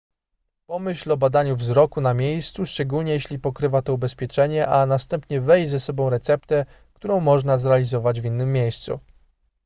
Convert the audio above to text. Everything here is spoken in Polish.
pomyśl o badaniu wzroku na miejscu szczególnie jeśli pokrywa to ubezpieczenie a następnie weź ze sobą receptę którą można zrealizować w innym miejscu